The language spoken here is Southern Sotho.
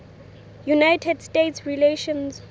united states relations